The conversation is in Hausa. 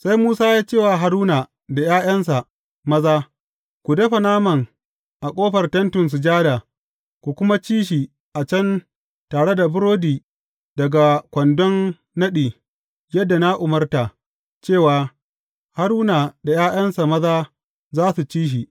Sai Musa ya ce wa Haruna da ’ya’yansa maza, Ku dafa naman a ƙofar Tentin Sujada, ku kuma ci shi a can tare da burodi daga kwandon naɗi, yadda na umarta, cewa, Haruna da ’ya’yansa maza za su ci shi.’